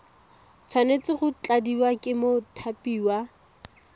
tshwanetse go tladiwa ke mothapiwa